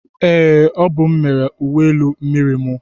Ee, ọ bụ m mere uwe elu miriri mu.